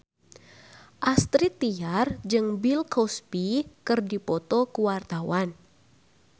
Astrid Tiar jeung Bill Cosby keur dipoto ku wartawan